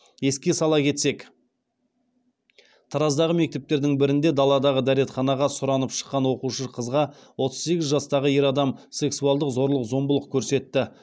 еске сала кетсек тараздағы мектептердің бірінде даладағы дәретханаға сұранып шыққан оқушы қызға отыз сегіз жастағы ер адам сексуалдық зорлық зомбылық көрсетті